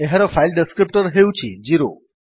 ଏହାର file descriptor ହେଉଛି ୦